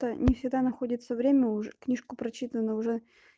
не всегда находится время книжку прочитано уже